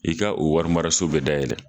I ka o wari maraso be dayɛlɛ